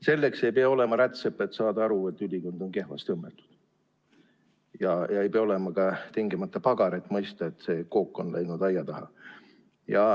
Selleks ei pea olema rätsep, et saada aru, kui ülikond on kehvasti õmmeldud, ja ei pea olema ka tingimata pagar, et mõista, kui kook on läinud aia taha.